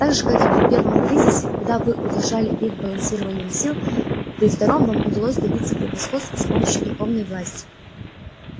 так же как и при первом кризисе когда вы удержали их балансированием сил при втором вам удалось добиться превосходства с помощью духовной власти